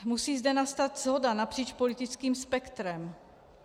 Musí zde nastat shoda napříč politickým spektrem.